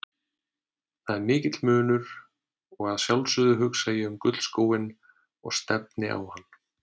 Það er mikill munur og að sjálfsögðu hugsa ég um gullskóinn og stefni á hann.